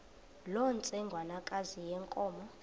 loo ntsengwanekazi yenkomo